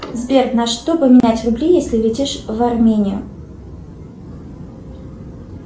сбер на что поменять рубли если летишь в армению